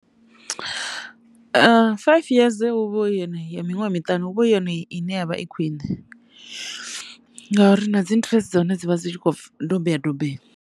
Five years hu vho yone ya miṅwaha miṱani huvha hu yone i ne ya vha i khwine ngauri na dzi interest dza hone dzi vha dzi tshi kho dobeya dobeya.